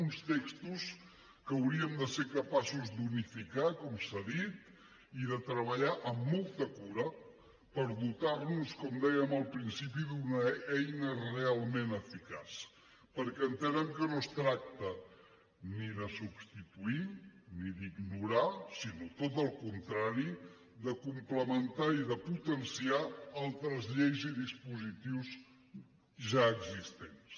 uns textos que hauríem de ser capaços d’unificar com s’ha dit i de treballar amb molta cura per dotar nos com dèiem al principi d’una eina realment eficaç perquè entenem que no es tracta ni de substituir ni d’ignorar sinó tot al contrari de complementar i de potenciar altres lleis i dispositius ja existents